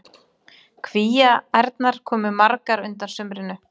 Kvíaærnar komu magrar undan sumrinu.